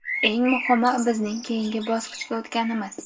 Eng muhimi bizning keyingi bosqichga o‘tganimiz.